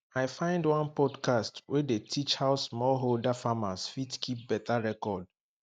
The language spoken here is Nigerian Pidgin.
i find one podcast wey dey teach how smallholder farmers fit keep better record